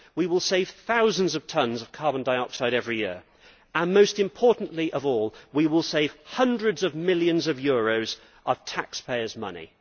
We will save thousands of tonnes of carbon dioxide every year and, most important of all, we will save hundreds of millions of euros of taxpayers' money.